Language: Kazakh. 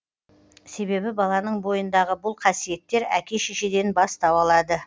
себебі баланың бойындағы бұл қасиеттер әке шешеден бастау алады